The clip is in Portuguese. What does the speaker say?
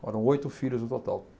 Foram oito filhos no total.